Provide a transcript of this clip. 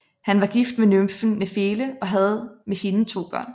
Han var gift med nymfen Nefele og havde med hende to børn